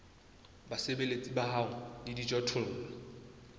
basebeletsi ba hao le dijothollo